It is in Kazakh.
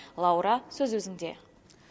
лаура сөз өзіңде